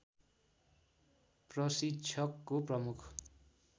प्रशिक्षकको प्रमुख